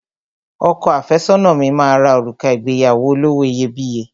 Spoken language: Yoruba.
Ọkọ àfẹ́sọ́nà mi máa ra òrùka ìgbéyàwó olówó iyebíye